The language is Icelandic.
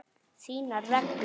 Þínar reglur?